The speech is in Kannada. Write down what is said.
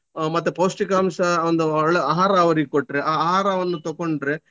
ಅಹ್ ಮತ್ತೆ ಪೋಷ್ಟಿಕಾಂಶ ಒಂದು ಒಳ್ಳೆ ಆಹಾರ ಅವರಿಗೆ ಕೊಟ್ರೆ ಆ ಆಹಾರವನ್ನು ತಕೊಂಡ್ರೆ.